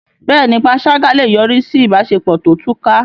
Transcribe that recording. Bẹ́ẹ̀ni, panṣágà lè yọrí sí ìbáṣepọ̀ tó túká.